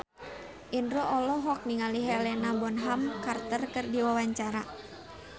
Indro olohok ningali Helena Bonham Carter keur diwawancara